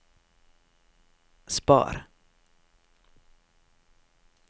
spar